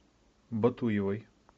батуевой